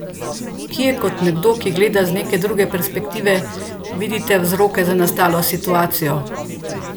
Kje kot nekdo, ki gleda z neke druge perspektive, vidite vzroke za nastalo situacijo?